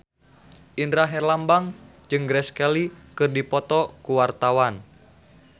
Indra Herlambang jeung Grace Kelly keur dipoto ku wartawan